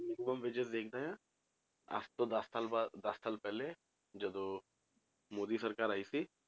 minimum wages ਦੇਖਦਾ ਆਂ, ਅੱਜ ਤੋਂ ਦਸ ਸਾਲ ਬਾਅਦ ਦਸ ਸਾਲ ਪਹਿਲੇ ਜਦੋਂ ਮੋਦੀ ਸਰਕਾਰ ਆਈ ਸੀ,